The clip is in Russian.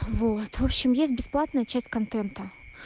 вот в общем есть бесплатная часть контента